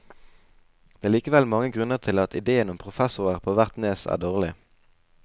Det er likevel mange grunner til at idéen om professorer på hvert nes er dårlig.